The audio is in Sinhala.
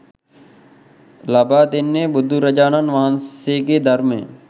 ලබා දෙන්නේ බුදුරජාණන් වහන්සේගේ ධර්මය